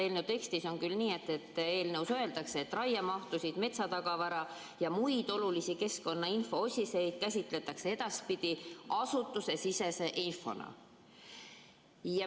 Eelnõu tekstis öeldakse küll nii, et raiemahtusid, metsatagavara ja muid olulisi keskkonnainfoosiseid käsitletakse edaspidi asutusesisese infona.